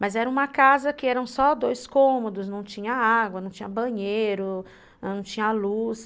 Mas era uma casa que eram só dois cômodos, não tinha água, não tinha banheiro, não tinha luz.